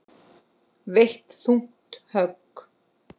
Veitt þung högg.